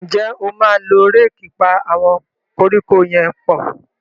njé o ma ló Réèkì pá àwọn koríko yén pọ?